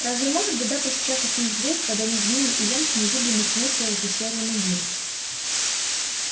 разве может беда постучаться к ним в дверь когда между ними и янки незыблемой стеной стоят те серые мундиры